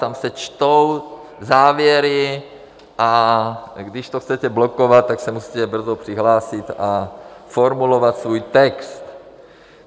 Tam se čtou závěry, a když to chcete blokovat, tak se musíte brzo přihlásit a formulovat svůj text.